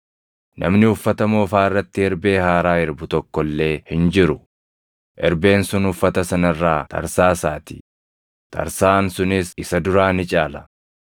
“Namni uffata moofaa irratti erbee haaraa erbu tokko illee hin jiru; erbeen sun uffata sana irraa tarsaasaatii; tarsaʼaan sunis isa duraa ni caala.